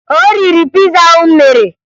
O riri piza ahụ m mere.